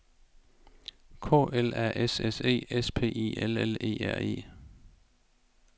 K L A S S E S P I L L E R E